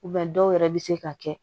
dɔw yɛrɛ bɛ se ka kɛ